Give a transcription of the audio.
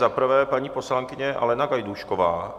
Za prvé paní poslankyně Alena Gajdůšková.